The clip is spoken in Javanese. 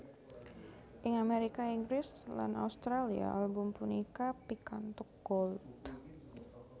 Ing Amérika Inggris lan Australia album punika pikantuk Gold